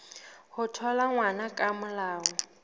ho thola ngwana ka molao